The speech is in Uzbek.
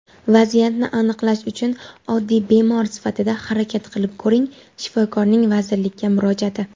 "Vaziyatni anglash uchun oddiy bemor sifatida harakat qilib ko‘ring" – Shifokorning vazirlikka murojaati.